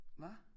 Hva?